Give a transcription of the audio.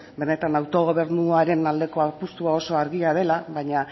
benetan autogobernuaren aldeko apustua oso argia dela baina